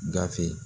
Gafe